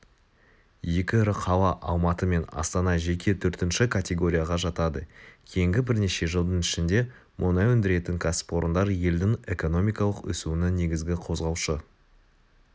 екі ірі қала алматы мен астана жеке төртінші категорияға жатады кейінгі бірнеше жылдың ішінде мұнай өндіретін кәсіпорындар елдің экономикалық өсуінің негізгі қозғаушы